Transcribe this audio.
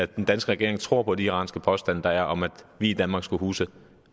den danske regering tror på de iranske påstande der er om at vi i danmark skulle huse